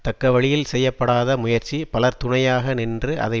தக்கவழியில் செய்ய படாத முயற்சி பலர் துணையாக நின்று அதை